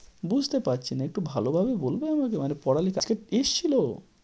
বুঝতে পারছিনা। একটু ভালোভাবে বলবে আমাকে মানে পড়া লেখাতেএসেছিলো?